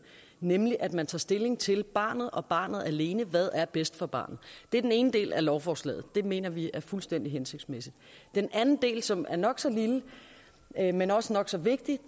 nemlig at man tager stilling til barnet og barnet alene hvad er bedst for barnet det er den ene del af lovforslaget og den mener vi er fuldstændig hensigtsmæssig den anden del som er nok så lille men også nok så vigtig